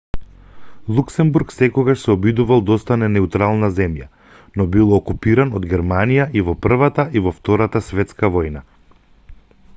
луксембург секогаш се обидувал да остане неутрална земја но бил окупиран од германија и во првата и во втората светска војна